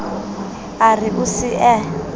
a re o se a